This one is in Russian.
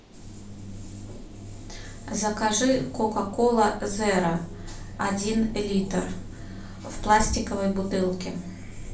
закажи кока кола зеро один литр в пластиковой бутылке